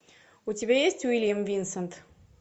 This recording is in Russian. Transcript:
у тебя есть уильям винсент